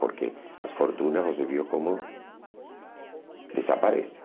Porque as fortunas você viu como desaparecem.